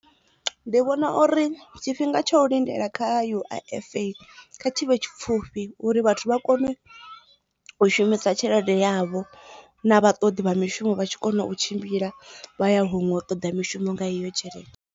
Ndi vhona uri tshifhinga tsha u lindela kha U_I_F kha tshivhe tshipfufhi uri vhathu vha kone u shumisa tshelede yavho na vha ṱoḓi vha mishumo vha tshi kona u tshimbila vha ya huṅwe u ṱoḓa mishumo nga iyo tshelede.